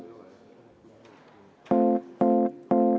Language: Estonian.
Ei näe.